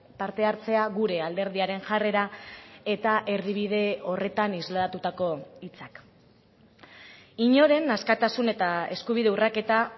parte hartzea gure alderdiaren jarrera eta erdibide horretan islatutako hitzak inoren askatasun eta eskubide urraketa